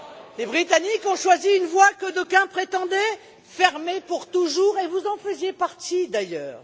Les Britanniques ont choisi une voie que d'aucuns prétendaient fermée pour toujours, et vous en faisiez partie, d'ailleurs.